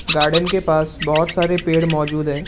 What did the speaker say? Garden के पास बहोत सारे पेड़ मौजूद है।